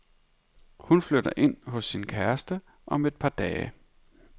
Hun flytter ind hos sin kæreste om et par dage.